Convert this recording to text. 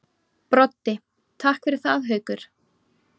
Broddi: Takk fyrir það Haukur.